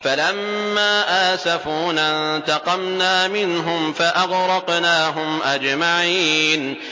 فَلَمَّا آسَفُونَا انتَقَمْنَا مِنْهُمْ فَأَغْرَقْنَاهُمْ أَجْمَعِينَ